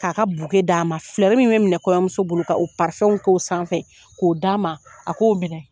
K'a ka d'a ma. min bɛ minɛ kɔɲɔmuso bolo, ka o k'o sanfɛ, k'o d'a ma. A k'o minɛ.